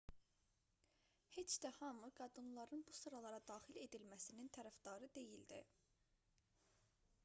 heç də hamı qadınların bu sıralara daxil edilməsinin tərəfdarı deyildi